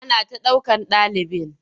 Ana ta dukan ɗalibin.